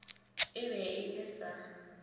e be e le sa